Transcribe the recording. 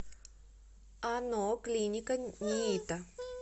ано клиника ниито